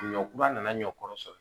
Ɲɔ kura nana n ɲɔkɔrɔ sɔrɔ